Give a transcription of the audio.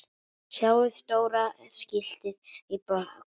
Sjáið stóra skiltið í baksýn.